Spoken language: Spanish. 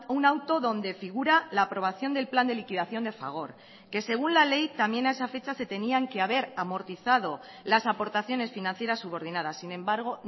un auto donde figura la aprobación del plan de liquidación de fagor que según la ley también a esa fecha se tenían que haber amortizado las aportaciones financieras subordinadas sin embargo